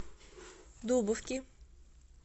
дубовки